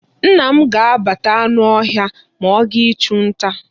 Nna m ga-agbata anụ ọhịa ma ọ gaa ịchụ nta.